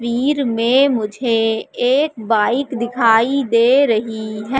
वीर में मुझे एक बाइक दिखाई दे रही हैं।